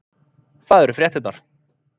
Það eru fréttirnar